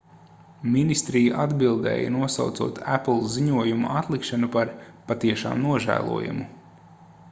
ministrija atbildēja nosaucot apple ziņojuma atlikšanu par patiešām nožēlojamu